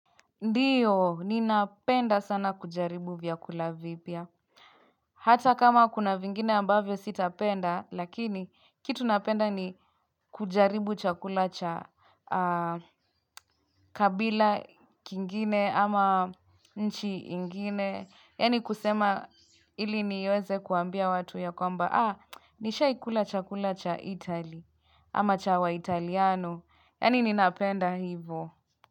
Ndiyo, ninapenda sana kujaribu vya kulavipya. Hata kama kuna vingine ambavyo sitapenda, lakini kitu napenda ni kujaribu chakula cha kabila kingine ama nchi ingine. Yani kusema ili niweze kuambia watu ya kwamba, ah, nisha ikula chakula cha itali ama cha wa italiano. Yani ninapenda hivo.